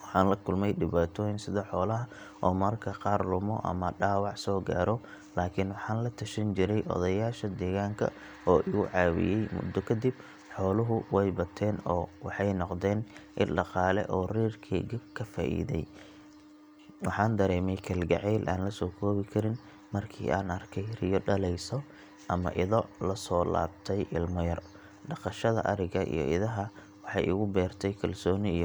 Waxaan la kulmay dhibaatooyin sida xoolaha oo mararka qaar lumo ama dhaawac soo gaadho laakiin waxaan la tashan jiray odayaasha deegaanka oo igu caawiyay. Muddo kadib, xooluhu way bateen oo waxay noqdeen il dhaqaale oo reerkeyga ka faa’iiday. Waxaan dareemay kalgacayl aan la soo koobi karin markii aan arkay riyo dhaleysa ama ido la soo laabtay ilmo yar. Dhaqashada ariga iyo idaha waxay igu beertay kalsooni iyo.